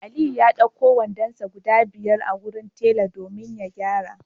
Aliyu ya d'auko wandonsa guda biyar wurin tela domin ya gyara